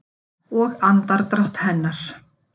Og andardrátt hennar.